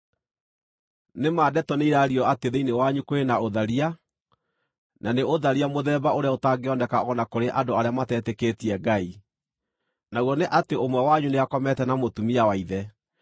Nĩ ma ndeto nĩiraario atĩ thĩinĩ wanyu kũrĩ na ũtharia, na nĩ ũtharia mũthemba ũrĩa ũtangĩoneka o na kũrĩ andũ arĩa matetĩkĩtie Ngai: Naguo nĩ atĩ ũmwe wanyu nĩakomete na mũtumia wa ithe.